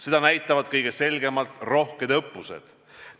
Seda näitavad kõige selgemalt rohked õppused.